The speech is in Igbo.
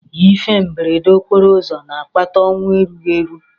Ihe mberede okporoụzọ na-akpata ọnwụ erughị eru.